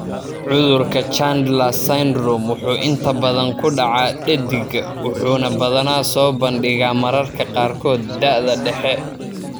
Cudurka Chandler's syndrome wuxuu inta badan ku dhacaa dheddigga wuxuuna badanaa soo bandhigaa mararka qaarkood da'da dhexe.